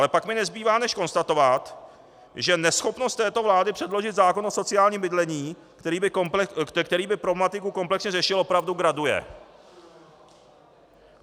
Ale pak mi nezbývá než konstatovat, že neschopnost této vlády předložit zákon o sociálním bydlení, který by problematiku komplexně řešil, opravdu graduje.